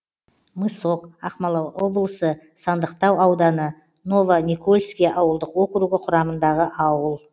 мысок ақмола облысы сандықтау ауданы новоникольский ауылдық округі құрамындағы ауыл